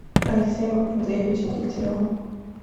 алексеем андреевичем дегтяревым